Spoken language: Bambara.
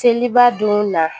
Seliba don na